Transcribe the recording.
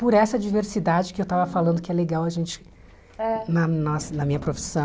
Por essa diversidade que eu estava falando que é legal a gente, é na na na minha profissão,